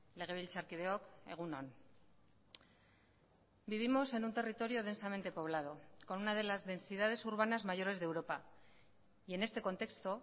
legebiltzarkideok egun on vivimos en un territorio densamente poblado con una de las densidades urbanas mayores de europa y en este contexto